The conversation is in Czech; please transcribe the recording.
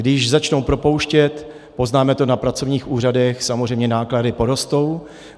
Když začnou propouštět, poznáme to na pracovních úřadech, samozřejmě náklady porostou.